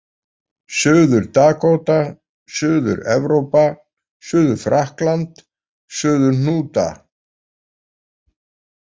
Suður-Dakóta, Suður-Evrópa, Suður-Frakkland, Suður-Hnúta